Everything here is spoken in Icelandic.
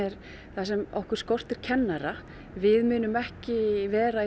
þar sem okkur skortir kennara við munum ekki vera í